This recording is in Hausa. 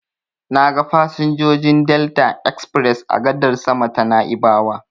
Na ga fasinjojin Delta express a gadar sama ta Na'ibawa.